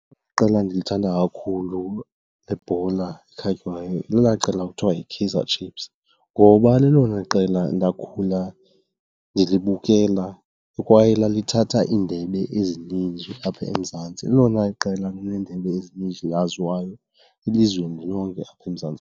Iiqela endilithanda kakhulu lebhola ekhatywayo lelaa qela kuthiwa yiKaizer Chiefs ngoba lelona qela ndakhula ndlibukela kwaye lithatha iindebe ezininzi apha eMzantsi. Lelona qela lineendebe ezininzi elaziwayo elizweni lonke apha eMzantsi.